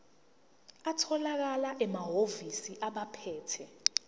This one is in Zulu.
atholakala emahhovisi abaphethe